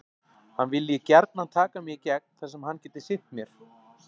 Hann vilji gjarnan taka mig í gegn þar sem hann geti sinnt mér.